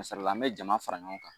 K'a sɔrɔ la an bɛ jama fara ɲɔgɔn kan.